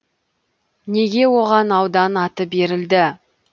неге оған аудан аты берілді